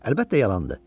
Əlbəttə, yalandır.